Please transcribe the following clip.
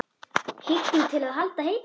Hillu til að halda heitu?